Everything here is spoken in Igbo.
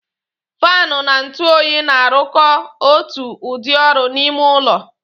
Faanụ na ntụ oyi na-arụkọta otu ụdị ọrụ n'ime ụlọ